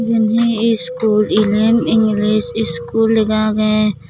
eyan he iskul elem english iskul lega aage.